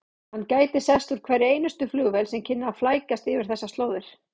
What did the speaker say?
Hann gæti sést úr hverri einustu flugvél sem kynni að flækjast yfir þessar slóðir.